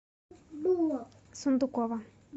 сундукова